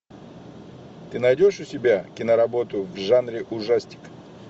ты найдешь у себя киноработу в жанре ужастик